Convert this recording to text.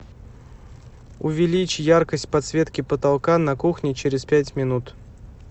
увеличь яркость подсветки потолка на кухне через пять минут